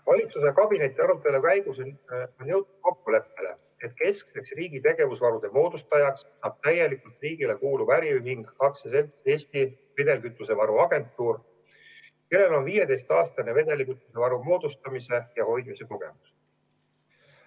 Valitsuse kabinetiarutelu käigus jõuti kokkuleppele, et keskseks riigi tegevusvarude moodustajaks saab täielikult riigile kuuluv äriühing AS Eesti Vedelkütusevaru Agentuur, kellel on 15 aasta pikkune vedelkütusevaru moodustamise ja hoidmise kogemus.